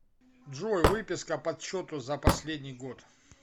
джой выписка подсчету за последний год